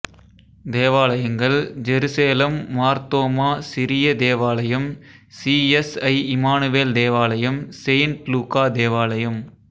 தேவாலயங்கள் ஜெருசேலம் மார் தோமா சிரிய தேவாலயம் சி எஸ் ஐ இம்மானுவேல் தேவாலயம் செயின்ட் லூக்கா தேவாலயம்